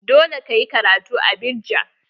Dole ka yi karatu a Abidjan!